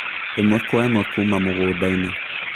Īmwe kwa ĩmwe kuuma mũgunda-inĩ